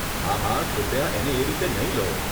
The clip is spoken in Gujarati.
હાહા, કૃપયા એને એ રીતે નહીં લો.